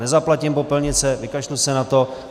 Nezaplatím popelnice, vykašlu se na to.